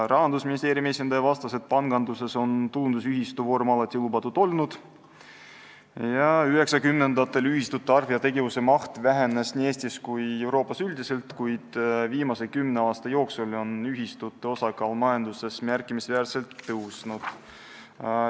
Rahandusministeeriumi esindaja vastas, et panganduses on tulundusühistu vorm alati lubatud olnud ja 1990-ndatel ühistute arv ja tegevuse maht vähenes nii Eestis kui ka Euroopas üldiselt, kuid viimase kümne aasta jooksul on ühistute osakaal majanduses märkimisväärselt tõusnud.